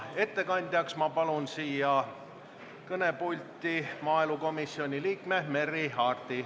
Ettekandjaks palun kõnepulti maaelukomisjoni liikme Merry Aarti.